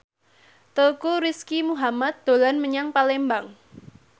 Teuku Rizky Muhammad dolan menyang Palembang